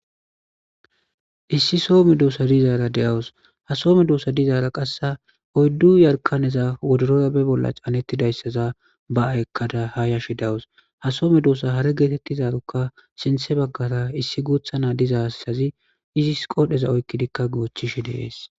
Issi soho medossa diizara de'awusu ha soho meddosa diizara qasse oyddu jarkkaneza woddorora be bolla caanetidayssa ba'a ekkada ha yashshe de'awusu ha soho meddosa haare gettetizaarokka sinththe baggara issi guuththa na'a dizayssazi izzissi qodhdheza oykkidika goochchishe dessi.